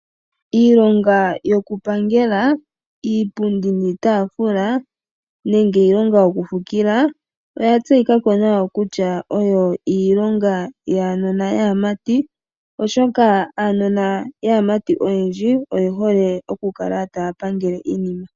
Iilonga yokupangela iipundi niitaafula nenge iilonga yokufikila oya tseyika ko nawa kutya oyo iilonga yaanona yaamati. Oshoka aanona yaamati oyendji oye hole okukala taya pangele iinima.